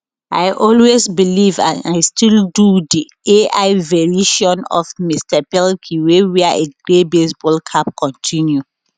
i always believe and i still do di ai verison of mr pelkey wey wear a grey baseball cap continue